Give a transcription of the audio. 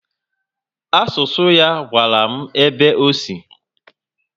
Asụsụ ya gwara m ebe ọ sị